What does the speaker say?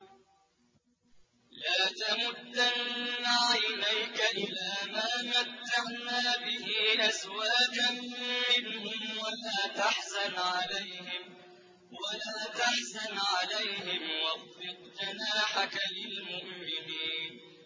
لَا تَمُدَّنَّ عَيْنَيْكَ إِلَىٰ مَا مَتَّعْنَا بِهِ أَزْوَاجًا مِّنْهُمْ وَلَا تَحْزَنْ عَلَيْهِمْ وَاخْفِضْ جَنَاحَكَ لِلْمُؤْمِنِينَ